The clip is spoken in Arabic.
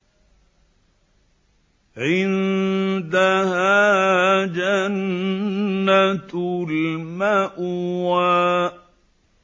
عِندَهَا جَنَّةُ الْمَأْوَىٰ